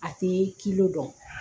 A tɛ dɔn